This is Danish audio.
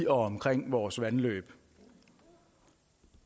omkring vores vandløb